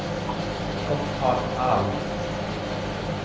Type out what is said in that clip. Gotthard Alm